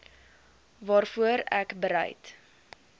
waarvoor ek bereid